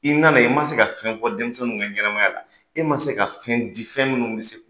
I nana i ma se ka fɛn fɔ denmisɛnnin ka ɲɛnɛmaya la, e ma se ka fɛn di fɛn minnu bɛ se